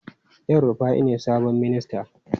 El Rufai ne sabon ministan?